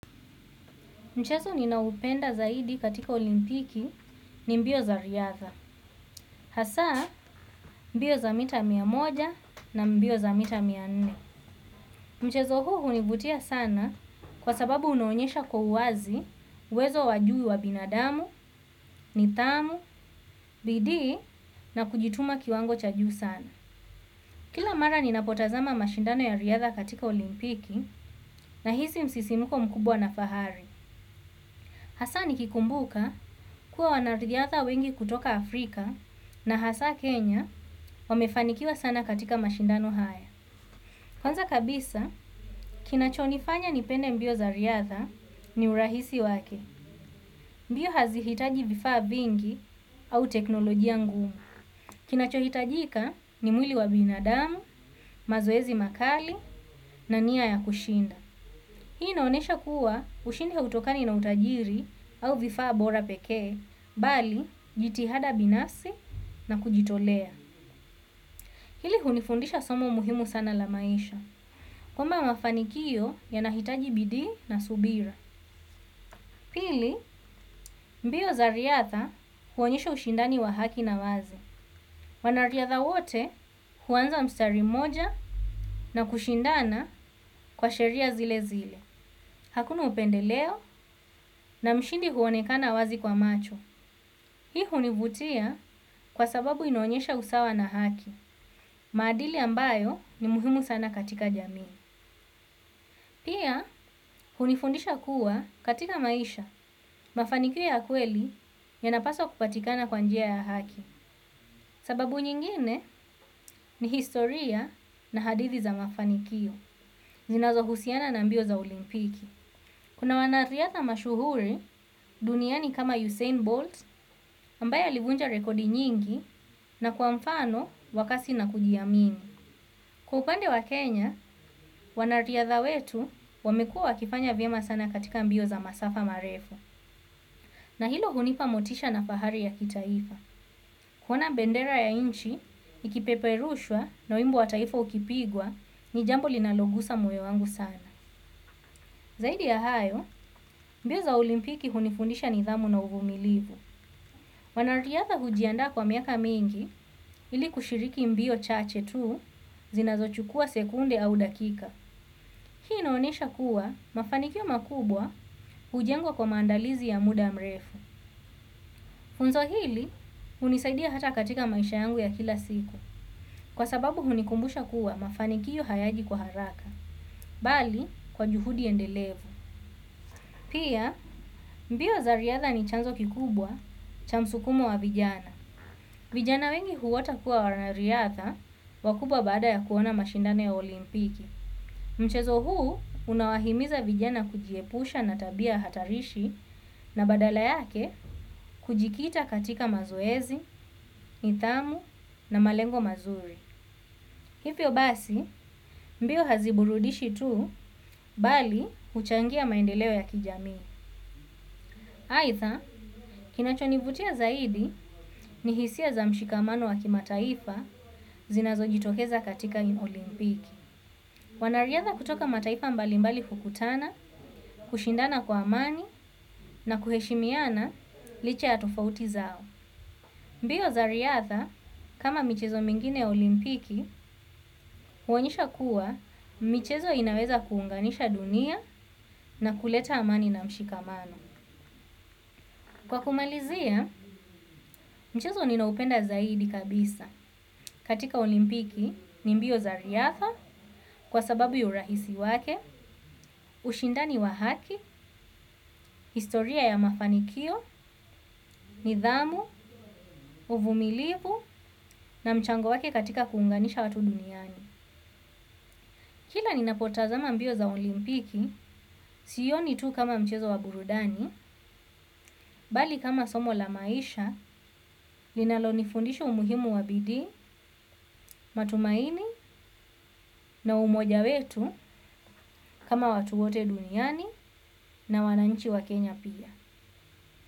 Mchezo ninaoupenda zaidi katika olimpiki ni mbio za riadha. Hasa mbio za mita mia moja na mbio za mita mia nne. Mchezo huu univutia sana kwa sababu unaonyesha kwa uwazi uwezo wa juu wa binadamu, nithamu, bidii na kujituma kiwango cha juu sana. Kila mara ninapotazama mashindano ya riadha katika olimpiki nahisi msisimuko mkubwa na fahari. Hasa nikikumbuka kuwa wanariadha wengi kutoka Afrika na hasa Kenya wamefanikiwa sana katika mashindano haya. Kwanza kabisa, kinachonifanya nipende mbio za riadha ni urahisi wake. Mbio hazihitaji vifaa vingi au teknolojia ngumu. Kinachohitajika ni mwili wa binadamu mazoezi makali na nia ya kushinda. Hii inaonesha kuwa ushindi ya hautokani na utajiri au vifaa bora pekee, bali jitihada binafsi na kujitolea. Hili hunifundisha somo muhimu sana la maisha. Kwamba mafanikio yanahitaji bidii na subira. Pili, mbio za riadha huonyesha ushindani wa haki na wazi. Wanariadha wote huanza mstari moja na kushindana kwa sheria zile zile. Hakuna upendeleo na mshindi huonekana wazi kwa macho. Hii hunivutia kwa sababu inaonyesha usawa na haki, maadili ambayo ni muhimu sana katika jamii. Pia, hunifundisha kuwa katika maisha, mafanikio ya kweli yanapaswa kupatikana kwa njia ya haki. Sababu nyingine ni historia na hadithi za mafanikio ninazohusiana na mbio za olimpiki. Kuna wanariadha mashuhuri duniani kama Usain Bolt ambaye alivunja rekodi nyingi na kwa mfano wa kasi na kujiamini. Kwa upande wa Kenya, wanariadha wetu wamekua wakifanya vyema sana katika mbio za masafa marefo. Na hilo hunipa motisha na fahari ya kitaifa. Kuona bendera ya inchi, ikipeperushwa na wimbi wa taifa ukipigwa ni jambo linalogusa moyo wangu sana. Zaidi ya hayo, mbio za olimpiki hunifundisha nidhamu na uvumilivu. Wanariadha hujiandaa kwa miaka mingi ili kushiriki mbio chache tu zinazochukua sekunde au dakika. Hii inaonesha kuwa mafanikio makubwa hujengwa kwa maandalizi ya muda mrefu. Funzo hili hunisaidia hata katika maisha yangu ya kila siku kwa sababu hunikumbusha kuwa mafanikio hayaji kwa haraka, bali kwa juhudi endelevu. Pia mbio za riadha ni chanzo kikubwa cha msukumo wa vijana. Vijana wengi huota kuwa waranariadha wakubwa baada ya kuona mashindano ya olimpiki. Mchezo huu unawahimiza vijana kujiepusha na tabia hatarishi na badala yake kujikita katika mazoezi, tamu na malengo mazuri. Hivyo basi mbio haziburudishi tuu bali huchangia maendeleo ya kijamii. Aidha, kinachonivutia zaidi ni hisia za mshikamano wa kimataifa zinazojitokeza katika olimpiki. Wanariadha kutoka mataifa mbalimbali hukutana, kushindana kwa amani na kuheshimiana licha ya tofauti zao. Mbio za riadha, kama michezo mingine ya olimpiki, huonyesha kuwa michezo inaweza kuunganisha dunia na kuleta amani na mshikamano. Kwa kumalizia, mchezo ninaupenda zaidi kabisa katika olimpiki ni mbio za riadha kwa sababu ya urahisi wake, ushindani wa haki, historia ya mafanikio, nidhamu, uvumilivu na mchango wake katika kuunganisha watu duniani. Kila ninapotazama mbio za olimpiki, sioni tu kama mchezo wa burudani, bali kama somo la maisha, linalonifundisha umuhimu wa bidii, matumaini na umoja wetu kama watu wote duniani na wananchi wa Kenya pia.